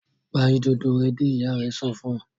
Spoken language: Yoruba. Pa Ìdodo rẹ dé! ìyá rẹ sọfún.